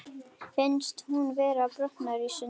Finnst hún vera að brotna í sundur.